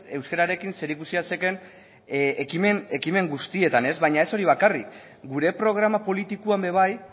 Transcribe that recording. euskararekin zerikusia zeukaten ekimen guztietan baina ez hori bakarrik gure programa politikoan ere bai